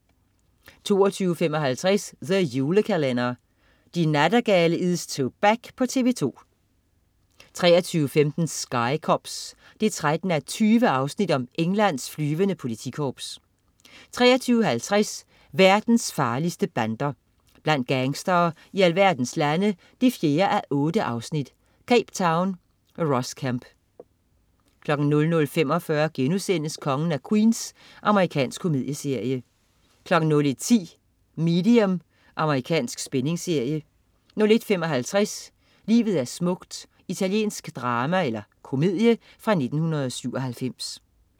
22.55 The Julekalender. De Nattergale is toback på TV 2 23.15 Sky Cops 13:20. Englands flyvende politikorps 23.50 Verdens farligste bander. Blandt gangstere i alverdens lande 4:8. Cape Town. Ross Kemp 00.45 Kongen af Queens.* Amerikansk komedieserie 01.10 Medium. Amerikansk spændingsserie 01.55 Livet er smukt. Italiensk drama/komedie fra 1997